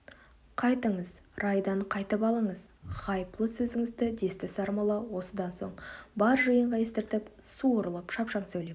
қайтыңыз райдан қайтып алыңыз ғайыплы сөзіңізді десті сармолла осыдан соң бар жиынға естіртіп суырылып шапшаң сөйлеп